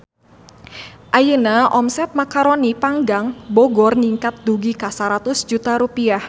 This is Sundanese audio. Ayeuna omset Macaroni Panggang Bogor ningkat dugi ka 100 juta rupiah